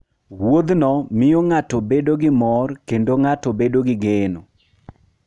Wuodhno miyo ng'ato bedo gi mor, kendo ng'ato bedo gi geno.